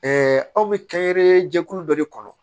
aw bɛ kɛnyɛrɛye jɛkulu dɔ de kɔnɔ